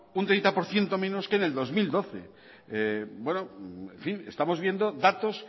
un treinta por ciento menos que en el dos mil doce en fin estamos viendo datos